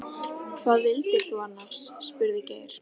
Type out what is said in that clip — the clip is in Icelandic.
Hvað vildir þú annars? spurði Geir.